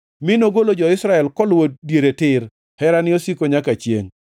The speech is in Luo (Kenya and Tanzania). mi nogolo jo-Israel koluwo diere tir, Herane osiko nyaka chiengʼ.